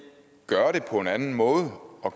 gøre det på en anden måde og at